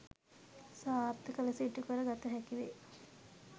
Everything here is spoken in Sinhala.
සාර්ථක ලෙස ඉටුකර ගත හැකිවේ.